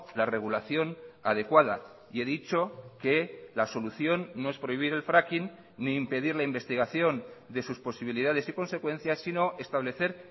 la regulación adecuada y he dicho que la solución no es prohibir el fracking ni impedir la investigación de sus posibilidades y consecuencias sino establecer